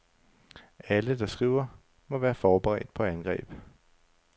Alle, der skriver, må være forberedt på angreb.